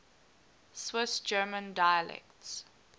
swiss german dialects